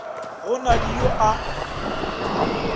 go na le yo a